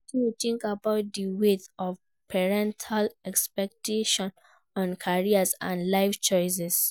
wetin you think about di weight of parental expectations on career and life choices?